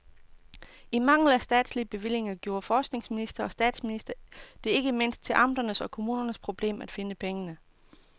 I mangel på statslige bevillinger gjorde forskningsminister og statsminister det ikke mindst til amternes og kommunernes problem at finde pengene.